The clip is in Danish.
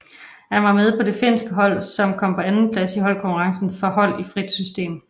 Han var med på det finske hold som kom på en andenplads i holdkonkurrencen for hold i frit system